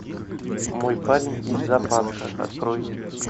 мой парень из зоопарка открой